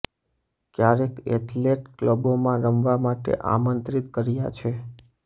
ક્યારેક એથ્લેટ ક્લબોમાં રમવા માટે આમંત્રિત કર્યા છે